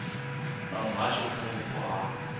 vha muhasho kha vhupo ha